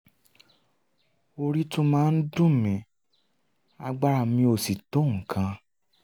orí tún máa ń dùn mí agbára mi ò sì tó nǹkan